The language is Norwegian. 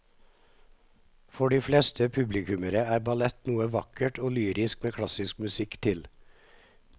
For de fleste publikummere er ballett noe vakkert og lyrisk med klassisk musikk til.